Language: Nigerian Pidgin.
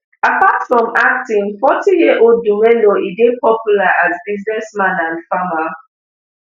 apart from acting forty year old dumelo e dey popular as businessman and farmer